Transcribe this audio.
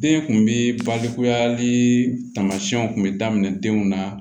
Den kun bi balikuyali taamasiyɛnw kun bɛ daminɛ denw na